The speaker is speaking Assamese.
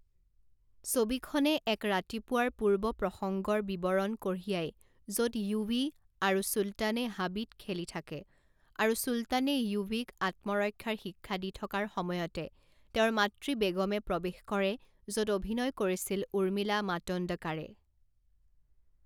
ছবিখনে এক ৰাতিপুৱাৰ পূৰ্বপ্ৰসংগৰ বিৱৰণ কঢ়িয়াই য'ত য়ুৱী আৰু চুলতানে হাবিত খেলি থাকে আৰু চুলতানে য়ুৱীক আত্মৰক্ষাৰ শিক্ষা দি থকাৰ সময়তে তেওঁৰ মাতৃ বেগমে প্ৰৱেশ কৰে য'ত অভিনয় কৰিছিল উৰ্মিলা মাটোণ্ডকাৰে।